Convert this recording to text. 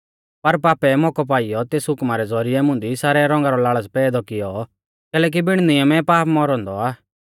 पर पापै मौकौ पाइयौ तेस हुकमा रै ज़ौरिऐ मुंदी सारै रौंगा रौ लाल़च़ पैदौ किऔ कैलैकि बिण नियमै पाप मौरौ औन्दौ आ